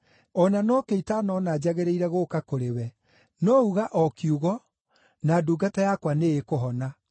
O na nokĩo itanona njagĩrĩire gũũka kũrĩ we. No uga o kiugo, na ndungata yakwa nĩĩkũhona.